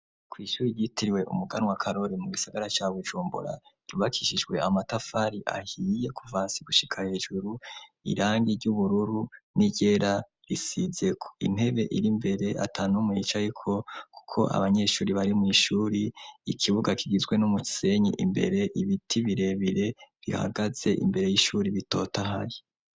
Kw'ishuri yitiriwe umuganwa karori mu bisagara cya bujumbora ribakishijwe amatafari ahiye kuvasi gushika hejuru irangi ry'ubururu nigera risidze ku intebe iri mbere atanu muyicayiko kuko abanyeshuri bari mu ishuri ikibuga kigizwe n'umu ksenyi imbere ibiti birebire bihagaze imbere y'ishuri bitota ahaye.